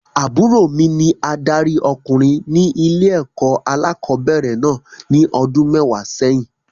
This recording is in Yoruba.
Àbúrò mi ní adarí ọkùnrin ní ilé-ẹ̀kọ́ alẹ́kọ̀ọ́bẹ̀rẹ̀ náà ní ọdún mẹ́wàá sẹ́yìn.